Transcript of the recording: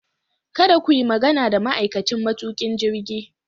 Kada ku yi magana da ma'aikacin matukin jirgi.